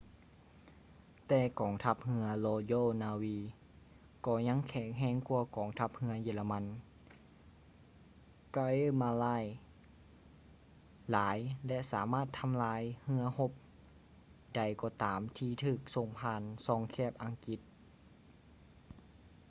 ແຕ່ກອງທັບເຮືອ royal navy ກໍຍັງແຂງແຮງກວ່າກອງທັບເຮືອເຢຍລະມັນ kriegsmarine” ຫຼາຍ ແລະ ສາມາດທຳລາຍເຮືອຮົບໃດກໍຕາມທີ່ຖືກສົ່ງຜ່ານຊ່ອງແຄບອັງກິດ